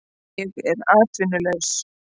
Ég er atvinnulaus